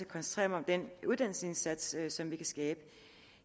koncentrere mig om den uddannelsesindsats som vi kan skabe